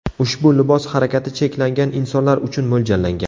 Ushbu libos harakati cheklangan insonlar uchun mo‘ljallangan.